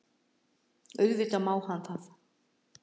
Auðvitað má hann það.